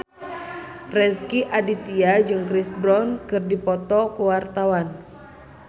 Rezky Aditya jeung Chris Brown keur dipoto ku wartawan